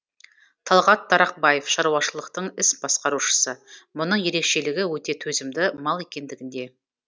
талғат тарақбаев шаруашылықтың іс басқарушысы мұның ерекшелігі өте төзімді мал екендігінде